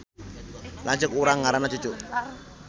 Lanceuk urang ngaranna Cucu